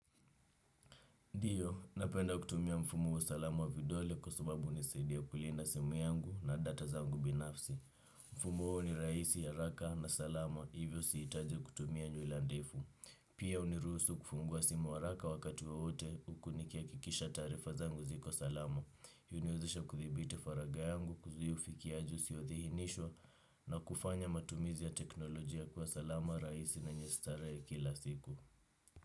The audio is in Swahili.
Ndiyo, napenda kutumia mfumo wa salamu wa vidole kwa sababu hunisaidia kulinda simu yangu na data zangu binafsi. Mfumo wao ni rahisi haraka na salama hivyo sihitaji kutumia nywila ndefu. Pia huniruhusu kufungua simu haraka wakati wowote huku nikihakikisha taarifa zangu ziko salama. Huniwezesha kuthibiti faragha yangu kuzuia ufikiaji usioithinishwa na kufanya matumizi ya teknolojia kwa salama rahisi na yenye starehe kila siku.